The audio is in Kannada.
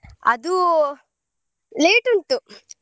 ಅದು late ಉಂಟು.